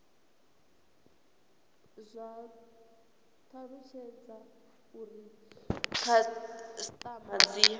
kwa talutshedza uri khasitama dzi